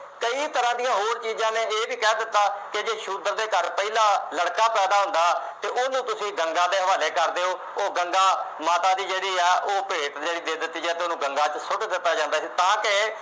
ਕਈ ਤਰ੍ਹਾਂ ਦੀਆਂ ਹੋਰ ਚੀਜ਼ਾਂ ਨੇ, ਇਹ ਵੀ ਕਹਿ ਦਿੱਤਾ ਕਿ ਜੇ ਸ਼ੂਦਰ ਦੇ ਘਰ ਪਹਿਲਾ ਲੜਕਾ ਪੈਦਾ ਹੁੰਦਾ ਅਤੇ ਉਹਨੂੰ ਤੁਸੀਂ ਗੰਗਾ ਦੇ ਹਵਾਲੇ ਕਰ ਦਿਉ। ਉਹ ਗੰਗਾ ਮਾਤਾ ਦੀ ਜਿਹੜੀ ਹੈ ਉਹ ਭੇਂਟ ਜਿਹੜੀ ਦੇ ਦਿੱਤੀ ਜਾਂਦੀ, ਉਹਨੂੰ ਗੰਗਾ ਚ ਸੁੱਟ ਦਿੱਤਾ ਜਾਂਦਾ ਸੀ ਤਾਂ ਕਿ